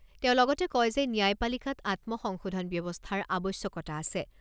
তেওঁ লগতে কয় যে ন্যায়পালিকাত আত্মসংশোধন ব্যৱস্থাৰ আৱশ্যকতা আছে।